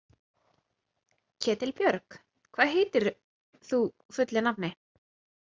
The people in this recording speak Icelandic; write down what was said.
Ketilbjörg, hvað heitir þú fullu nafni?